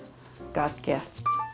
gat gert